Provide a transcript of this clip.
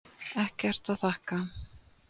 Ekkert að þakka